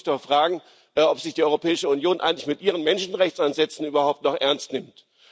Da muss man sich doch fragen, ob sich die Europäische Union eigentlich mit ihren Menschenrechtsansätzen überhaupt noch ernst nimmt.